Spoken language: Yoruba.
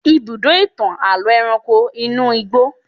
Ibùdó ìtàn àlọ́ ẹranko ni inú igbó.